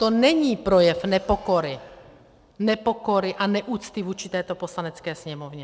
To není projev nepokory, nepokory a neúcty vůči této Poslanecké sněmovně.